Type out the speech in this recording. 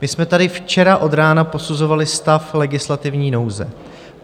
My jsme tady včera od rána posuzovali stav legislativní nouze.